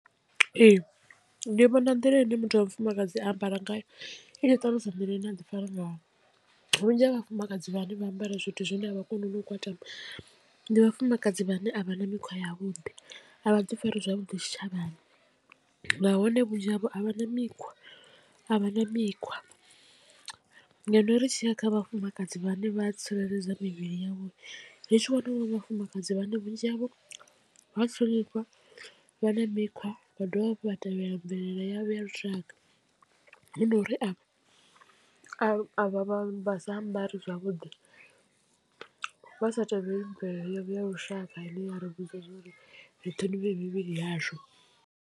Ee ndi vhona nḓila ine muthu wa mufumakadzi a ambara ngayo i tshi ṱalusa nḓila ine aḓi fara ngayo vhunzhi ha vhafumakadzi vhane vha ambara zwithu zwine avha koni no u kwatama ndi vhafumakadzi vhane a vha na mikhwa yavhuḓi a vha ḓi fari zwavhuḓi tshitshavhani nahone vhunzhi havho a vha na mikhwa a vha na mikhwa. Ngeno ri tshi ya kha vhafumakadzi vhane vha tsireledza mivhili ya vho ri tshi wana vhafumakadzi vhane vhunzhi havho vha ṱhonifha vha na mikhwa vha dovha hafhu vha tevhela mvelele ya vho ya lushaka ndi uri a a vha vha sa ambari zwavhuḓi vha sa tevheli mvelelo yavho ya lushaka ine ya ri vhudza ri ṱhonifhe mivhili yashu.